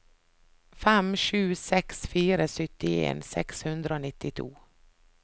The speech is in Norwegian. fem sju seks fire syttien seks hundre og nittito